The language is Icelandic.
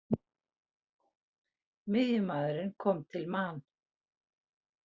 Miðjumaðurinn kom til Man.